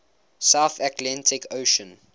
south atlantic ocean